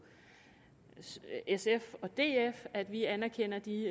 sf og df at vi anerkender de